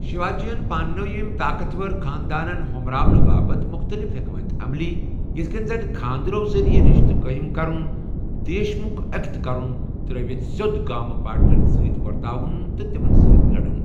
شیواجی یَن پاننٲوِ یِم طاقتور خانٛدانن ہو٘مراونہٕ باپت مختلِف حیكمت عملی ،یِتھہٕ كَنۍ زن كھاندرو ذرِیعہ رِشتہٕ قٲیِم كرٕنہِ ، دیش مُكھ اكِت كُن تر٘ٲوِتھ سیود گامہٕ پاٹِلن سۭتۍ ورتاوٗن تہٕ تِمن سۭتۍ لڈُن ۔